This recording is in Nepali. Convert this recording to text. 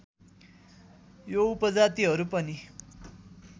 यो उपजातिहरू पनि